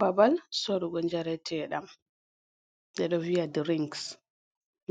Babal sorugo njareteɗam ɓe ɗo viya drings.